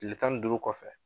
Tile tan ni duuru kɔfɛ